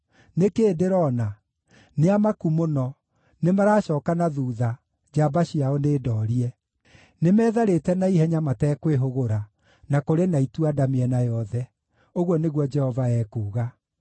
Nĩ kĩĩ ndĩrona? Nĩamaku mũno, nĩmaracooka na thuutha, njamba ciao nĩndoorie. Nĩmetharĩte na ihenya matekwĩhũgũra, na kũrĩ na itua-nda mĩena yothe,” ũguo nĩguo Jehova ekuuga.